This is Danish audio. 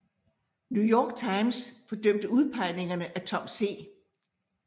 New York Times fordømte udpegningerne af Tom C